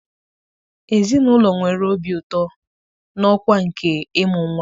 Ezinụlọ nwere obi ụtọ na ọkwa nke ịmụ nwa